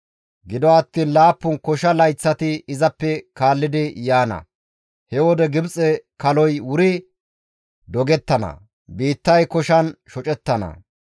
Gido attiin laappun kosha layththati izappe kaallidi yaana. He wode Gibxe kaloy wuri dogettana; biittay koshan shocettana.